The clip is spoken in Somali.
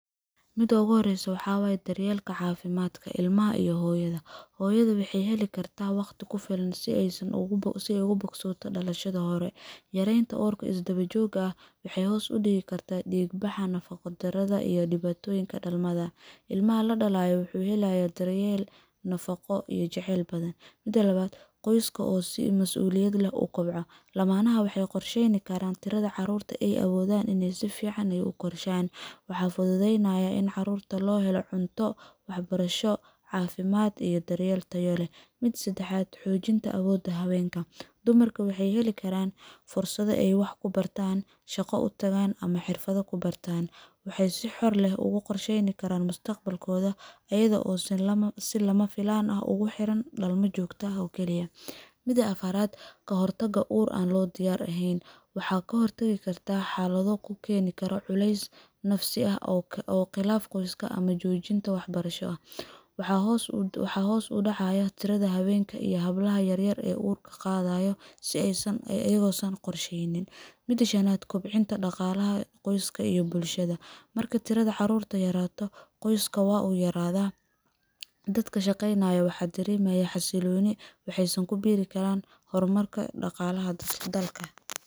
Mida ooguhoreysa waxaa waye dareyeelka caafimadka ilaha iyo hooyadha. Hooyadha waxey heli karta waqti kufilan si ey ugubogsoto daqashadha hore. Yareeyan uurka isdawajooga ah waxey hoos udigi kartaa diigbaha nafaqa daradha iyo dibaatoyiinka dalmadha. Ilmaha ladalaya wuxu helayaa daryeel nafaqo iyo jaceyl badhan. Mida labaad qoyska oo si masuuliyada leh ukobco lamanaha waxey qorshen karaan tiradha caruurta ey awoodhan in ey sifican ey ukorshan. Waxaa fidhudheynaya in caruurta loohelo cunto waxbarasho caafimad iyo daryeel Tayo leh. Mida sedahaad xoojinta awooda haweenka dumarku waxey heli karaan fursadho ey wax kubartaan shaqo utagaan ama xirfadho kubartaan. Waxey si xor leh uguqorsheyni karaan mustaqbalkoodha iyadha oo silamafilaan ah uguxiran dalma jooto ah oo Kali ah. Mida afaraad kahortagu uur aan loodiyaar ahen. Waxaa kahortagi karta xaaladho kuukeni karo culeys nafasi ah oo qilaaf qoyska ah ama joojinta waxbarasho ah. Waxaa hoos udacayaa tiradha haweenka ama hablaha yaryar oo uur qadhayo si eysan iyago eysan qusheynin. Mida shanad kobcinta daqaalaha qoyska iyo bulshada, marka tiradha caruurta yaato qoysku waa uu yaraadha dadka shaqynaya waxa daremaya xasilooni waxeysan kubiri Karan hormarka daqaalaha dalka.